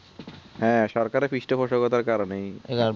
হ্যাঁ সরকারের পৃষ্ঠবসের কারণেই